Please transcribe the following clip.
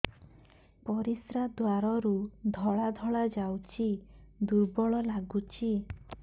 ପରିଶ୍ରା ଦ୍ୱାର ରୁ ଧଳା ଧଳା ଯାଉଚି ଦୁର୍ବଳ ଲାଗୁଚି